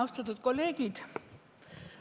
Austatud kolleegid!